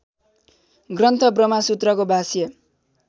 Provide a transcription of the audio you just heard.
ग्रन्थ ब्रह्मसूत्रको भाष्य